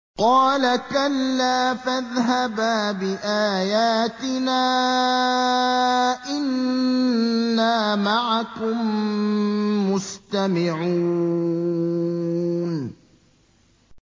قَالَ كَلَّا ۖ فَاذْهَبَا بِآيَاتِنَا ۖ إِنَّا مَعَكُم مُّسْتَمِعُونَ